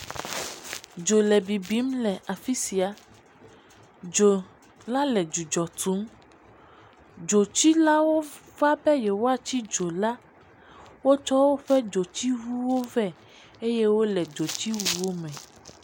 Dzo le bibim le afi sia, dzo la le dzudzɔ tum, dzotsilawo va be yewoatsi dzo la, wotsɔ woƒe dzotsiŋuwo vɛ eye wole dzotsiwuwo me.